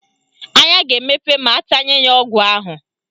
Anya ga-emepe ma atanye ya ọgwụ ahụ